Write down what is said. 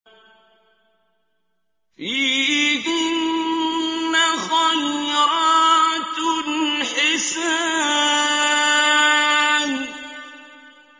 فِيهِنَّ خَيْرَاتٌ حِسَانٌ